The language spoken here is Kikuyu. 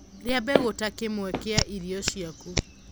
rĩa mbegu ta kimwe kia irio ciaku